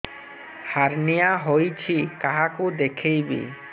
hernia ହୋଇଛି କାହାକୁ ଦେଖେଇବି